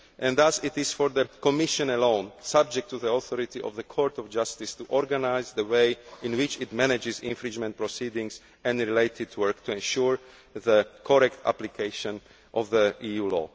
Thus it is for the Commission alone, subject to the authority of the Court of Justice, to organise the way in which it manages infringement proceedings and related work to ensure the correct application of EU